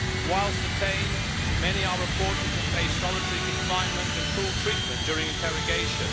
Whilst detained, many are reported to face solitary confinement and cruel treatment during interrogation.